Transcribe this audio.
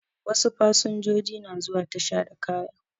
Wasu fasanjoji na zuwa tasha da kaya